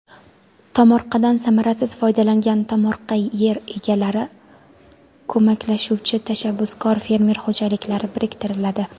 Tomorqadan samarasiz foydalangan tomorqa yer egalariga ko‘maklashuvchi tashabbuskor fermer xo‘jaliklari biriktiriladi.